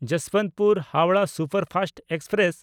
ᱡᱚᱥᱵᱚᱱᱛᱯᱩᱨ–ᱦᱟᱣᱲᱟᱦ superfast express